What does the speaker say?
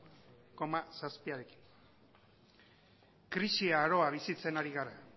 koma zazpirekin krisi aroa bizitzen ari gara